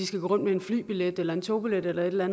skal gå rundt med en flybillet eller en togbillet eller et eller